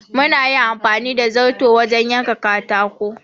Mun yi amfani da zarto wajen yanka katako.